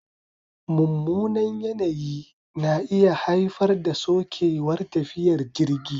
Mummunan yanayi na iya haifar da sokewar tafiyar jirgi